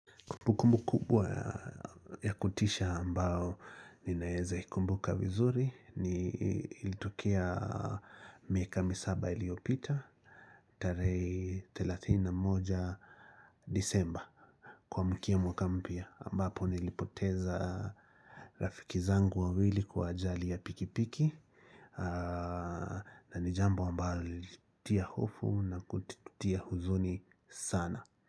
Kumbukumbu kubwa ya kutisha ambao ninaeza ikumbuka vizuri ni ilitikea miaka misaba iliopita. Tare 31 disemba kumkia mwaka mpyau ambapo nilipoteza rafiki zangu wawili kwa ajali ya pikipiki na ni jambo ambalo lilitia hofu na kutitia huzuni sana.